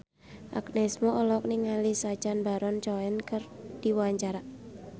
Agnes Mo olohok ningali Sacha Baron Cohen keur diwawancara